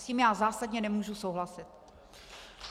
S tím já zásadně nemůžu souhlasit.